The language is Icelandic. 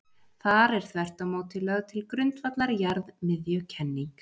Þar er þvert á móti lögð til grundvallar jarðmiðjukenning.